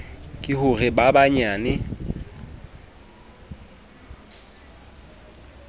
ke ho re ba banyane